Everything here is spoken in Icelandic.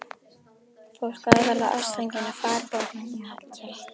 Fólk á að verða ástfangið af fagurbókmenntum hélt